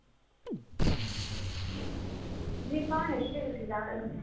যি পাও সেইটোতে গুচি যাও আৰু